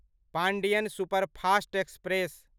Pandian superfast express